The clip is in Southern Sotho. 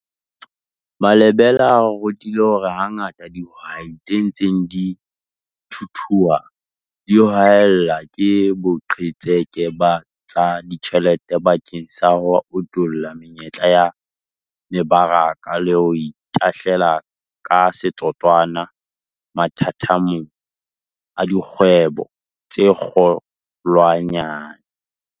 Malebela a re rutile hore hangata dihwai tse ntseng di thuthua di haellwa ke boqhetseke ba tsa ditjhelete bakeng sa ho utolla menyetla ya mebaraka le ho itahlela ka setotswana mathathamong a dikgwebo tse kgolwanyane.